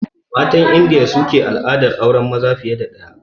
Matan Indiya su ke al'adar auren maza fiye da ɗaya da